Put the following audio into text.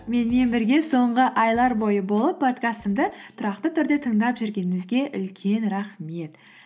менімен бірге соңғы айлар бойы болып подкастымды тұрақты түрде тыңдап жүргеніңізге үлкен рахмет